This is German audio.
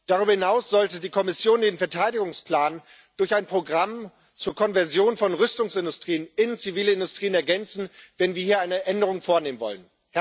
Darüber hinaus sollte die Kommission den Verteidigungsplan durch ein Programm zur Konversion von Rüstungsindustrien in Zivilindustrien ergänzen, wenn wir hier eine Änderung vornehmen wollen.